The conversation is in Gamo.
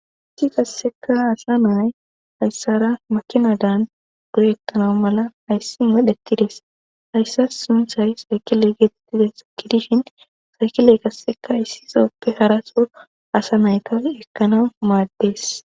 Issi kasseka asa nay hayssara makina dan guyettana mala hayssi madhetides hayssa sunthay saykile geetittidayssa gidishin saykiley kasseka hayssizoppe haraso asa nayta ekkana maaddees.